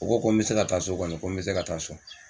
U ko ko n bɛ se ka taa so kɔni, ko n bɛ se ka taa so.